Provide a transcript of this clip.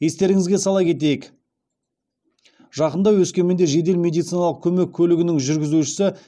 естеріңізге сала кетейік жақында өскеменде жедел медициналық көмек көлігінің жүргізушісі